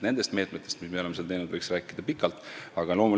Nendest meetmetest, sellest, mis me oleme teinud, võiks pikalt rääkida.